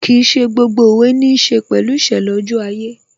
Kìí ṣe gbogbo òwe níí ṣe pẹ̀lú ìṣẹ̀lẹ̀ ojú ayé